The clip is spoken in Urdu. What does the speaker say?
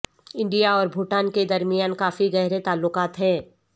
انڈیا اور بھوٹان کے درمیان کافی گہرے تعلقات ہیں